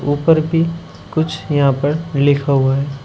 ऊपर भी कुछ यहां पर लिखा हुआ है।